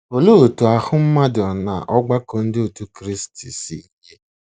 Olee otú ahụ́ mmadụ na ọgbakọ ndị otú Kristi si yie?